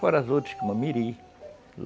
Fora as outras, como Mirim